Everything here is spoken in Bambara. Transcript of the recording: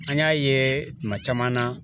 An y'a ye tuma caman na